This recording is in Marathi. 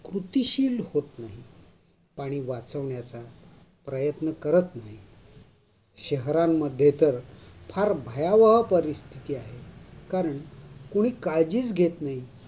कृतिशील होत नाही. पाणी वाचवण्याचा प्रयत्न करत नाही. शहरांमध्ये तर फार भयवह परिस्थिती आहे. कारण कोणी काळजीच घेत नाही.